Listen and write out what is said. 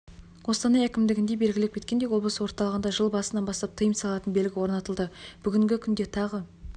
қостанай әкімдігінде белгілеп кеткендей облыс орталығында жыл басынан бастап тыйым салатын белгі орнатылды бүгінгі күнде тағы